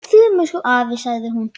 Afi, sagði hún.